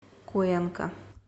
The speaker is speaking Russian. куэнка